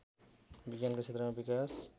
विज्ञानका क्षेत्रमा विकास